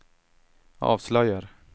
avslöjar